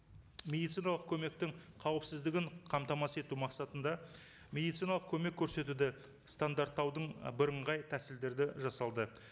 медициналық көмектің қауіпсіздігін қамтамасыз ету мақсатында медициналық көмек көрсетуді стандарттаудың бірыңғай тәсілдерді жасалды